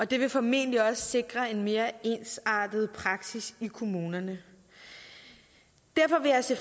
det vil formentlig også sikre en mere ensartet praksis i kommunerne derfor vil jeg se